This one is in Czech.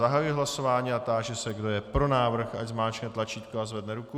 Zahajuji hlasování a táži se, kdo je pro návrh, ať zmáčkne tlačítko a zvedne ruku.